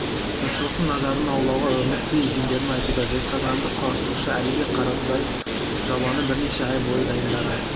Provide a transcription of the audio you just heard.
жұртшылықтың назарын аулауға ұмітті екендерін айтуда жезқазғандық құрастырушы әлібек қаратаевбұл жобаны бірнеше ай бойы дайындаған